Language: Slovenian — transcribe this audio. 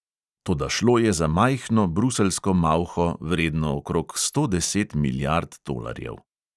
Toda šlo je za majhno bruseljsko malho, vredno okrog sto deset milijard tolarjev.